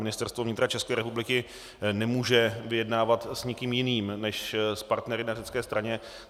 Ministerstvo vnitra České republiky nemůže vyjednávat s nikým jiným než s partnery na řecké straně.